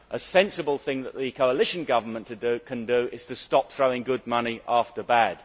A sensible thing that the coalition government can do is to stop throwing good money after bad.